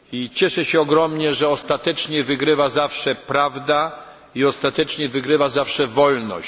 Cieszę się ogromnie, że ostatecznie wygrywa zawsze prawda i ostatecznie wygrywa zawsze wolność.